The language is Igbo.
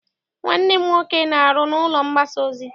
Nwanne m nwoke na-aru n'ụlọ mgbasa ozi.